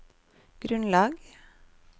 grunnlag